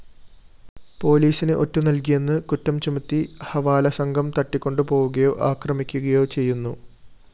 പോലീസിന് ഒറ്റുനല്‍കിയെന്ന് കുറ്റംചുമത്തി ഹവാലസംഘം തട്ടിക്കൊണ്ടുപോവുകയോ അക്രമിക്കുകയോ ചെയ്യുന്നു